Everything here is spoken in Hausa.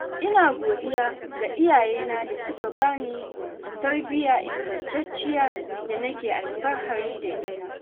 Ina godiya ga iyayena da suka bani tarbiyya ingantacciya da nake alfahari da ita.